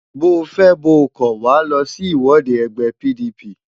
Bóo fẹ́ bóo kọ̀, Wàá lọ sí ìwọ́de ẹgbẹ́ PDP!